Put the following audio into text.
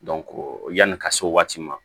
yanni ka se o waati ma